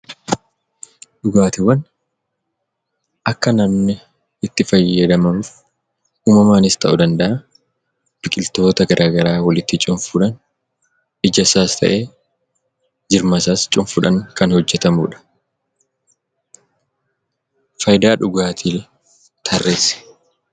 Dhugaatiiwwan akka namni itti fayyadamanuuf uumamaanis ta'uu danda'a, biqiltoota garaa garaa walitti cuunfuudhaan, ijasaas ta'e jirmasaa cuunfuudhaan kan hojjetamudha. Faayidaa dhugaatii tarreeessi.